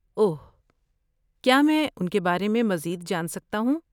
اوہ، کیا میں ان کے بارے میں مزید جان سکتا ہوں؟